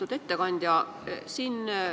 Lugupeetud ettekandja!